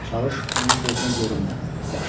Çalış, onun gözünə görünmə, yaxşı?